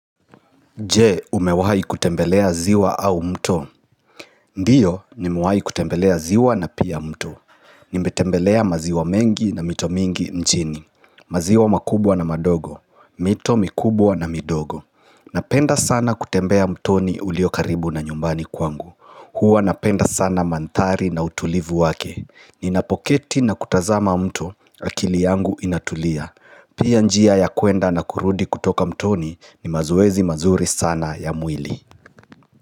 Je umewahi kutembelea ziwa au mto Ndiyo nimuwahi kutembelea ziwa na pia mto Nimetembelea maziwa mengi na mito mingi njini maziwa makubwa na madogo mito mikubwa na midogo Napenda sana kutembea mtoni ulio karibu na nyumbani kwangu Huwa napenda sana mantari na utulivu wake Ninapoketi na kutazama mto akili yangu inatulia Pia njia ya kwenda na kurudi kutoka mtoni ni mazoezi mazuri sana ya mwili.